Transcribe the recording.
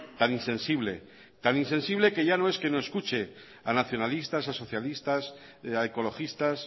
tan insensible tan insensible que ya no es que no escuche a nacionalistas a socialistas a ecologistas